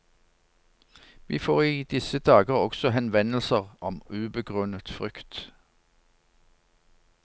Vi får i disse dager også henvendelser om ubegrunnet frykt.